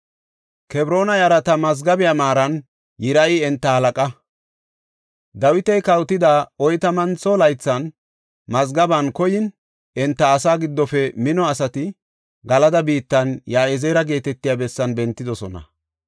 Kebroona yarata mazgabiya maaran Yiriyi enta halaqa. Dawiti kawotida oytamantho laythan mazgaben koyin enta asaa giddofe mino asati Galada biittan Ya7izeera geetetiya bessan bentidosona.